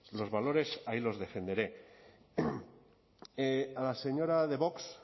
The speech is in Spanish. los valores ahí los defenderé a la señora de vox